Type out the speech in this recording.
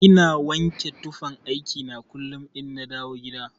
Ina wanke tufan aiki na kullun inna dawo gida.